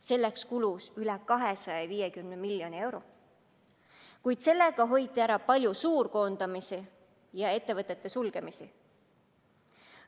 Selleks kulus üle 250 miljoni euro, kuid sellega hoiti ära suur hulk koondamisi ja ettevõtete sulgemisi.